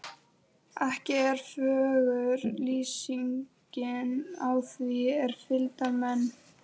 Ekki er fögur lýsingin á því er fylgdarmenn